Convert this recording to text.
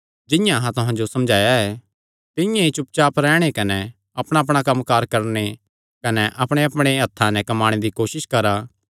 जिंआं अहां तुहां जो समझाया ऐ तिंआं ई चुपचाप रैहणे कने अपणाअपणा कम्मकार करणे कने अपणेअपणे हत्थां नैं कम्माणे दी कोसस करा